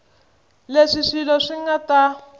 leswi swilo swi nga ta